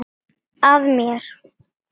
Að mér.